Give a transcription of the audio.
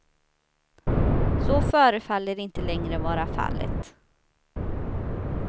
Så förefaller inte längre vara fallet.